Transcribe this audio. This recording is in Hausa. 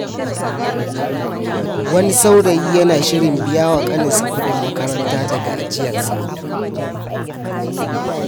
Wani saurayi yana shirin biya wa ƙaninsa kudin makaranta daga ajiyarsa.